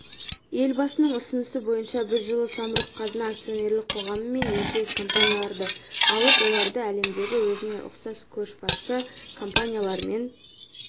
елбасының ұсынысы бойынша біз жылы самұрық-қазына акционерлік қоғамы мен еншілес компанияларды алып оларды әлемдегі өзіне ұқсас көшбасшы компаниялармен